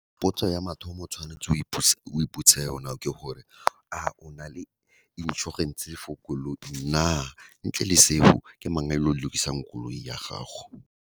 Potso ya mathomo, o tshwanetse o iputse yona ke gore, a o na le inšorense for koloi na, ntle le seo ke mang a ilo lokisang koloi ya gago.